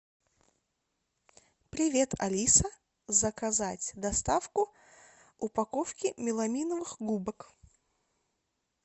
привет алиса заказать доставку упаковку меламиновых губок